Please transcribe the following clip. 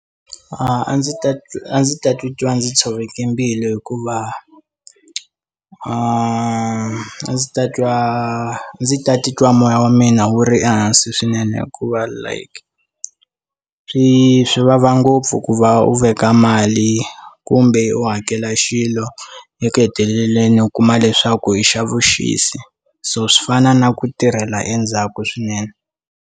A ndzi ta a ndzi ta titwa ndzi tshoveke mbilu hikuva a ndzi ta twa ndzi ta titwa moya wa mina wu ri ehansi swinene hikuva like swi swi vava ngopfu ku va u veka mali kumbe u hakela xilo eku heteleleni u kuma leswaku i xa vuxisi so swi fana na ku tirhela endzhaku swinene.